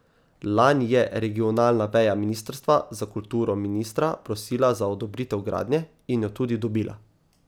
Lani je regionalna veja ministrstva za kulturo ministra prosila za odobritev gradnje, in jo tudi dobila.